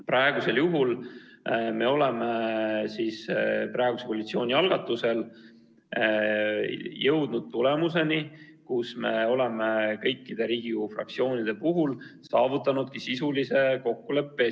Nüüd me oleme praeguse koalitsiooni algatusel jõudnud tulemuseni, kus me oleme kõikide Riigikogu fraktsioonide puhul saavutanud sisulise kokkuleppe.